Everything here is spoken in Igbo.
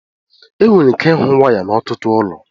enwere ike ịhụ waya n'ọtụtụ ụlọ